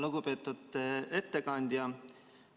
Lugupeetud ettekandja!